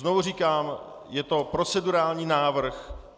Znovu říkám, je to procedurální návrh.